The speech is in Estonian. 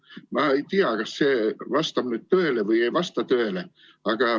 Ma ei tea, kas see vastab tõele või ei vasta.